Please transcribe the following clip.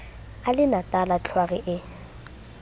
a le natala tlhware e